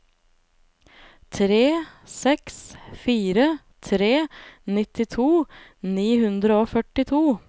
tre seks fire tre nittito ni hundre og førtito